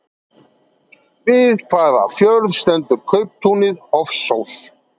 Við hvaða fjörð stendur kauptúnið Hofsós?